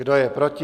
Kdo je proti?